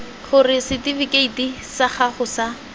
gore setifikeiti sa gago sa